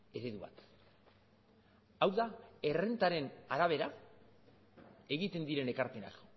eredu bat hau da errentaren arabera egiten diren ekarpenak